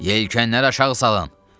Yelkənləri aşağı salın.